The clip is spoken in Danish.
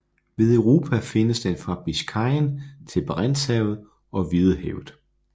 Ved Europa findes den fra Biscayen til Barentshavet og Hvidehavet